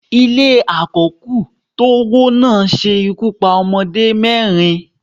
Ile àkó̩kù tówó lana se ikú pa ọmọdé mẹrin